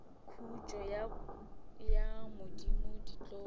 khutso ya modimo di tlo